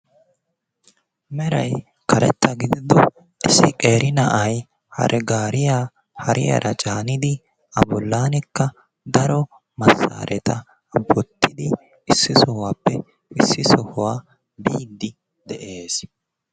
Meray karetta gidido issi qeeri na"ay hare gaariya hariyaara caanidi A bollaanikka daro massaaretta wottidi issi sohuwaappe issi sohuwaa biiddi de'ees.